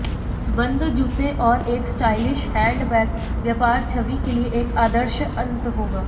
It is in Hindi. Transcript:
बंद जूते और एक स्टाइलिश हैंडबैग व्यापार छवि के लिए एक आदर्श अंत होगा